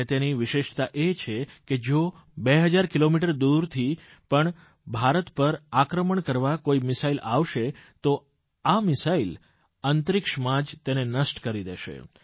અને તેની વિશેષતા એ છે કે જો 2000 કિલોમીટર દૂરથી પણ ભારત પણ આક્રમણ કરવા કોઇ મિસાઇલ આવશે તો આ મિસાઇલ અંતરિક્ષમાં જ તેને નષ્ટ કરી દેશે